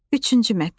Üçüncü mətn.